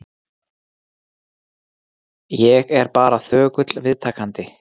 Ég er bara þögull viðtakandi.